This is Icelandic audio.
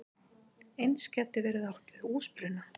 Eins gæti verið átt við húsbruna.